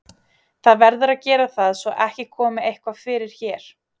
Það verður að gera það svo ekki komi eitthvað fyrir hér.